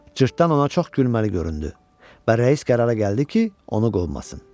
Cırtdan ona çox gülməli göründü və rəis qərara gəldi ki, onu qovmasın.